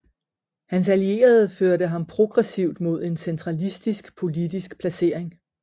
Hans allierede førte ham progressivt mod en centralistisk politisk placering